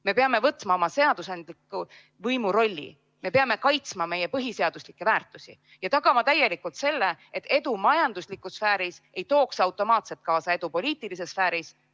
Me peame võtma oma seadusandliku võimu rolli, me peame kaitsma meie põhiseaduslikke väärtusi ja tagama täielikult selle, et edu majanduslikus sfääris ei tooks automaatselt kaasa edu poliitilises sfääris.